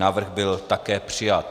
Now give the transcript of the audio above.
Návrh byl také přijat.